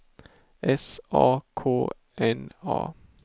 S A K N A